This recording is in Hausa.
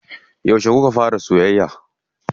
Yauce kuka fara soyayya?